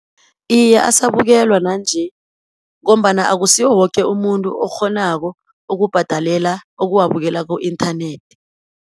Iye asabukelwa nanje, ngombana akusiwo woke umuntu okghonako, ukubhadalela ukuwabukela ku-inthanethi.